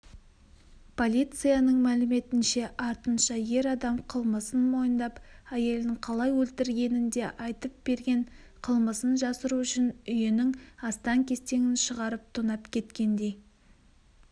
полицияның мәліметінше артынша ер адам қылмысын мойындап әйелін қалай өлтіргенін де айтып берген қылмысын жасыру үшін үйінің астаң-кестеңін шығарып тонап кеткендей